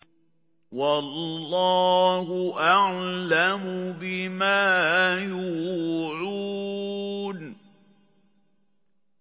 وَاللَّهُ أَعْلَمُ بِمَا يُوعُونَ